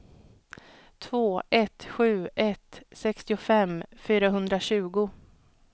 två ett sju ett sextiofem fyrahundratjugo